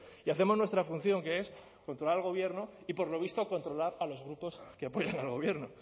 y hacemos nuestra función que es controlar al gobierno y por lo visto controlar a los grupos que apoyan al gobierno